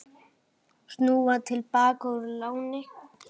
Snúa til baka úr láni